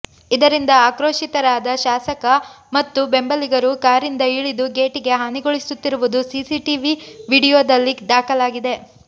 ಇದರಿಂದ ಆಕ್ರೋಶಿತರಾದ ಶಾಸ ಕ ಮತ್ತು ಬೆಂಬಲಿಗರು ಕಾರಿಂದ ಇಳಿದು ಗೇಟಿಗೆ ಹಾನಿಗೊಳಿಸುತ್ತಿರುವುದು ಸಿಸಿಟಿವಿ ವಿಡಿಯೋ ದಲ್ಲಿ ದಾಖಲಾಗಿದೆ